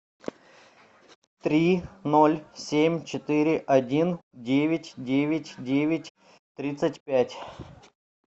три ноль семь четыре один девять девять девять тридцать пять